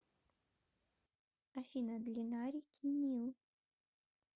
афина длина реки нил